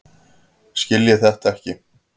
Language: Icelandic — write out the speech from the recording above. Skiljiði þetta ekki?